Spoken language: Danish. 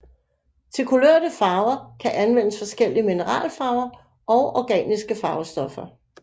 Til kulørte farver kan anvendes forskellige mineralfarver og organiske farvestoffer